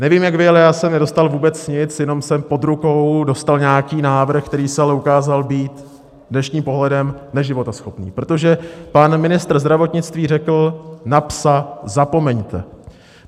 Nevím, jak vy, ale já jsem nedostal vůbec nic, jenom jsem pod rukou dostal nějaký návrh, který se ale ukázal být dnešním pohledem neživotaschopný, protože pan ministr zdravotnictví řekl - na "psa" zapomeňte.